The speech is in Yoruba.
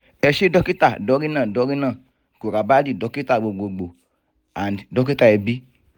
ẹ ṣé dókítà dorina dorina gurabardhi dókítà gbogbogbo & dókítà ẹbí